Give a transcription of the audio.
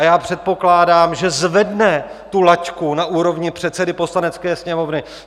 A já předpokládám, že zvedne tu laťku na úrovni předsedy Poslanecké sněmovny.